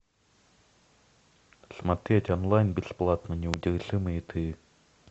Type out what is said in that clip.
смотреть онлайн бесплатно неудержимые три